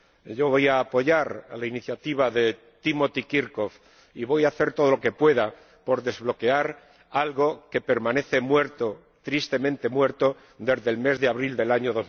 Yo voy a apoyar la iniciativa de Timothy Kirkhope y voy a hacer todo lo que pueda por desbloquear algo que permanece muerto, tristemente muerto, desde el mes de abril del año